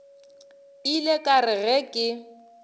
ile ka re ge ke